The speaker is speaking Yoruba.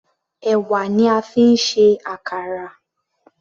Ẹ̀wà ni a fi ń ṣe àkàrà.